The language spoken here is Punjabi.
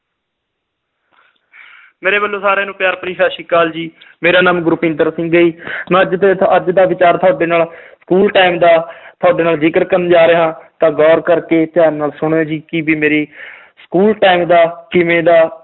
ਮੇਰੇ ਵੱਲੋਂ ਸਾਰਿਆਂ ਨੂੰ ਪਿਆਰ ਭਰੀ ਸਤਿ ਸ੍ਰੀ ਅਕਾਲ ਜੀ ਮੇਰਾ ਨਾਮ ਗੁਰਪਿੰਦਰ ਸਿੰਘ ਹੈ ਮੈਂ ਅੱਜ ਦੇ ਅੱਜ ਦਾ ਵਿਚਾਰ ਤੁਹਾਡੇ ਨਾਲ school time ਦਾ ਤੁਹਾਡੇ ਨਾਲ ਜਿਕਰ ਕਰਨ ਜਾ ਰਿਹਾ ਹਾਂ ਤਾਂ ਗੋਰ ਕਰਕੇ ਧਿਆਨ ਨਾਲ ਸੁਣਿਓ ਜੀ ਕੀ ਵੀ ਮੇਰੀ school time ਦਾ ਕਿਵੇਂ ਦਾ